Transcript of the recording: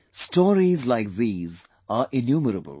Stories like these are innumerable